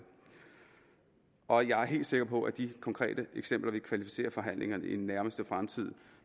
og jeg er helt sikker på at de konkrete eksempler vil kvalificere forhandlingerne i den nærmeste fremtid